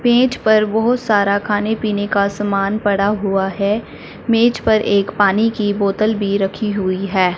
मेज पर बहुत सारा खाने पीने का सामान पड़ा हुआ है मेज पर एक पानी की बोतल भी रखी हुई है।